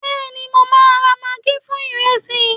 béèni mo ma ra maggi fún iresi